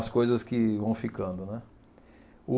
As coisas que vão ficando, né? O